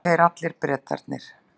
Og þeir allir, Bretarnir.